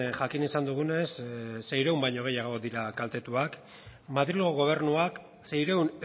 jakin izan dugunez seiehun baino gehiago dira kaltetuak madrilgo gobernuak seiehun